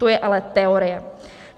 To je ale teorie.